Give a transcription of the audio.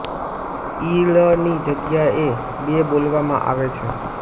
ઇ ળની જગ્યાએ એ ર બોલવામાં આવે છે